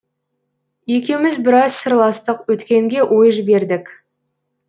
екеуміз біраз сырластық өткенге ой жібердік